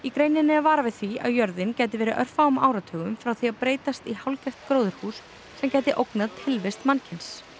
greininni er varað við því að jörðin gæti verið örfáum áratugum frá því að breytast í hálfgert gróðurhús sem gæti ógnað tilvist mannkyns